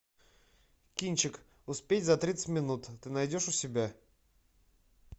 кинчик успеть за тридцать минут ты найдешь у себя